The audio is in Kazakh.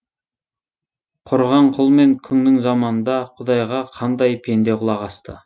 құрыған құл мен күңнің заманында құдайға қандай пенде құлақ асты